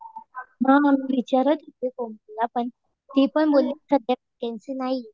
हा मी विचारत होते . पण ती पण बोलली सध्या वॅकन्सी नाहीये.